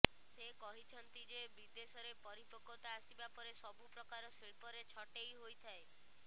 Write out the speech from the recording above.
ସେ କହିଛନ୍ତି ଯେ ବିଦେଶରେ ପରିପକ୍ବତା ଆସିବା ପରେ ସବୁ ପ୍ରକାର ଶିଳ୍ପରେ ଛଟେଇ ହୋଇଥାଏ